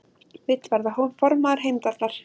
Vill verða formaður Heimdallar